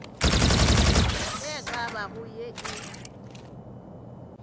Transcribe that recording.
e ka bago ye e